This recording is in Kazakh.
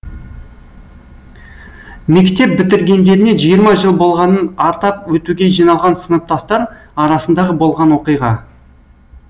мектеп бітіргендеріне жиырма жыл болғанын атап өтуге жиналған сыныптастар арасындағы болған оқиға